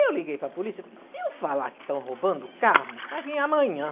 Eu liguei para a polícia e falei, se eu falar que estão roubando o carro, vai vir amanhã.